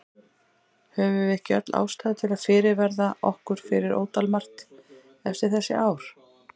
Höfum við ekki öll ástæðu til að fyrirverða okkur fyrir ótal margt eftir þessi ár?